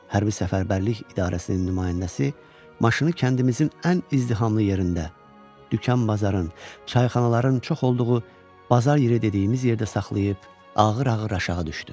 Hərbi Səfərbərlik İdarəsinin nümayəndəsi maşını kəndimizin ən izdihamlı yerində, dükan-bazarın, çayxanaların çox olduğu Bazar yeri dediyimiz yerdə saxlayıb ağır-ağır aşağı düşdü.